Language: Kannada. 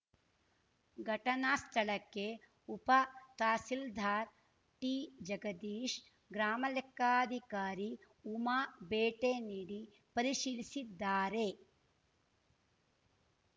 ಘಟನಾ ಸ್ಥಳಕ್ಕೆ ಉಪ ತಹಸೀಲ್ದಾರ್‌ ಟಿಜಗದೀಶ್‌ ಗ್ರಾಮಲೆಕ್ಕಾಧಿಕಾರಿ ಉಮಾ ಭೇಟೆನೀಡಿ ಪರಿಶೀಲಿಸಿದ್ದಾರೆ